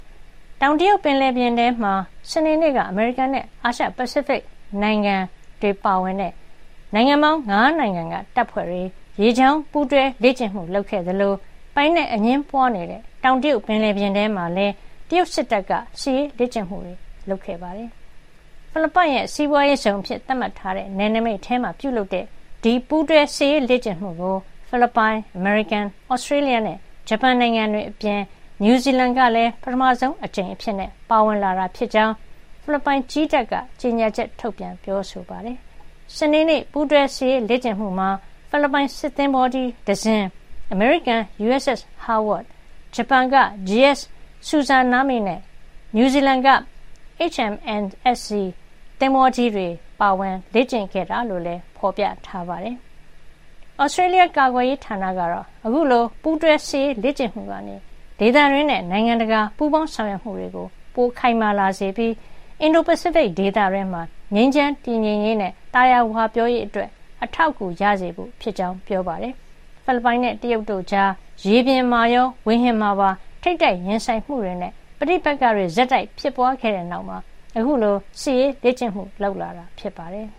တောင်တရုတ် ပင်လယ်ပြင်ထဲမှာ စနေနေ့က အမေရိကန်နဲ့ အာရှ- ပစိဖိတ်နိုင်ငံ တွေပါဝင်တဲ့ ၅ နိုင်ငံတပ်ဖွဲ့တွေ ရေကြောင်းပူးတွဲ လေ့ကျင့်မှု လုပ်ခဲ့သလို ပိုင်နက်အငြင်းပွါးနေတဲ့ တောင်တရုတ်ပင်လယ်ပြင်ထဲမှာပဲ တရုတ်စစ်တပ်ကလည်း စစ်ရေးလေ့ကျင့်မှု လုပ်ခဲ့ပါတယ်။ ဖိလစ်ပိုင်ရဲ့ စီးပွါးရေးဇုံ အဖြစ်သတ်မှတ်ထားတဲ့ နယ်နိမိတ်ထဲမှာ ပြုလုပ်တဲ့ ပူးတွဲစစ်ရေးလေ့ကျင့်မှုကို ဖိလစ်ပိုင်၊ အမေရိကန်၊ Australia နဲ့ ဂျပန်နိုင်ငံတွေ အပြင် နယူးဇီလန် ကလည်း ပထမဆုံး အကြိမ်အဖြစ် ပါဝင်လာတာ ဖြစ်ကြောင်း ဖိလစ်ပိုင်ကြည်းတပ်က ကြေညာချက် ထုတ်ပြန် ပြောဆိုပါတယ်။ စနေနေ့ ပူးတွဲစစ်ရေး လေ့ကျင့်မှုမှာ ဖိလစ်ပိုင် စစ်သင်္ဘောကြီးတစင်း၊ အမေရိကန် USS Howard ၊ ဂျပန်က JS Sazanami နဲ့ နယူးဇီလန်က HMNZS Aotearoa သင်္ဘောကြီးတွေ ပါဝင် လေ့ကျင့်ခဲ့တာလို့လည်း ဖေါ်ပြထားပါတယ်။ Australia ကာကွယ်ရေးဌာနကတော့ အခုလို ပူးတွဲစစ်ရေး လေ့ကျင့်မှုကနေ ဒေသတွင်းနဲ့ နိုင်ငံတကာ ပူးပေါင်းဆောင်ရွက်မှု ခိုင်မာလာ စေပြီး အင်ဒို- ပစိဖိတ်ဒေသတွင်း ငြိမ်းချမ်းတည်ငြိမ်ရေးနဲ့ သာယာဝပြောရေး အတွက် အထောက်အကူရစေဖို့ ဖြစ်ကြောင်း ပြောပါတယ်။ ဖိလစ်ပိုင်နဲ့ တရုတ်တို့ကြား ရေပြင်မှာရော ဝေဟင်မှာပါ ထိပ်တိုက် ရင်ဆိုင်မှုတွေနဲ့ ပဋိပက္ခတွေ ဆက်တိုက် ဖြစ်ပွါးခဲ့တဲ့ နောက် အခုလို စစ်ရေးလေ့ကျင့်မှု လုပ်တာ ဖြစ်ပါတယ်။